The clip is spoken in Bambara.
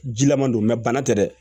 Jilaman don bana tɛ dɛ